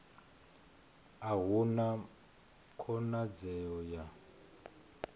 a hu na khonadzeo ya